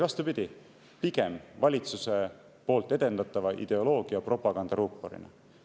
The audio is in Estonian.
Vastupidi, pigem valitsuse edendatava ideoloogia propagandaruuporina.